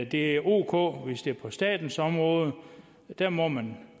det er ok hvis det er på statens område der må man